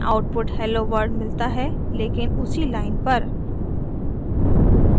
हमें output hello world मिलता है लेकिन उसी लाइन पर